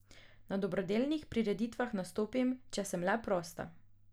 Na dobrodelnih prireditvah nastopim, če sem le prosta.